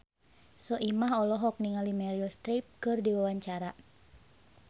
Soimah olohok ningali Meryl Streep keur diwawancara